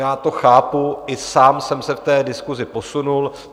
Já to chápu, i sám jsem se v té diskusi posunul.